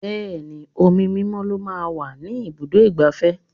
Bẹẹni, omi mímọ́ lọ máa ń wà ní ibùdó igbàfẹ́.